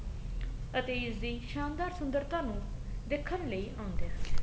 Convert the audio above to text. ਅਤੇ ਇਸ ਦੀ ਸ਼ਾਨਦਾਰ ਸੁੰਦਰਤਾ ਨੂੰ ਦੇਖਣ ਲਈ ਆਉਂਦੇ ਹਨ